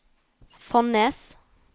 Fonnes